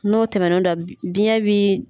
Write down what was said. N'o tɛmɛ no da bi biɲɛ